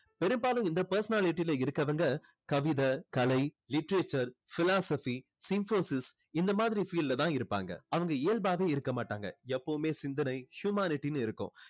பெரும்பாலும் இந்த personality ல இருக்கவங்க கவிதை கலை literature philosophy இந்த மாதிரி field ல தான் இருப்பாங்க அவங்க இயல்பாவே இருக்க மாட்டாங்க எப்போவுமே சிந்தனை humanity னு இருக்கும்